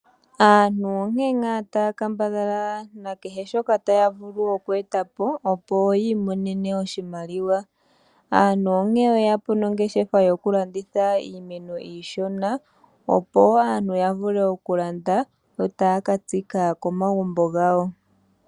Aantu onkene ngaa taya kambadhala nekehe shoka taya vulu oku eta po, opo yi imonene oshimaliwa. Aantu oye ya po nongeshefa yokulanditha iimeno iishona, opo ya vule okulanda yo taya ka tsika komagumbo gawo.